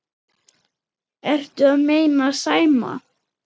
Ertu að meina Sæma?